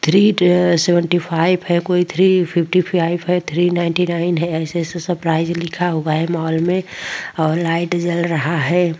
Three seventy five है कोई three fifty five है थ्री नाइंटी नाइन है ऐसे ऐसे सरप्राइज लिखा हुआ है मॉल में और लाइट जल रहा है।